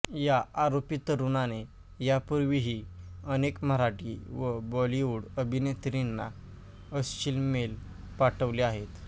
या आरोपी तरुणाने यापूर्वीही अनेक मराठी व बॉलिवूड अभिनेत्रींना अश्लील मेल पाठवले आहेत